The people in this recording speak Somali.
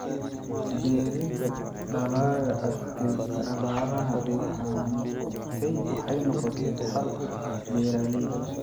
Beeridda dalagga adkaysta abaaraha waxay noqotay xal u ah beeralayda.